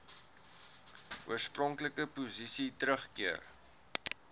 oorspronklike posisie teruggekeer